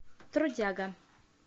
трудяга